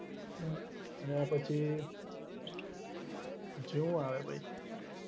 એના પછી જેવું આવે એ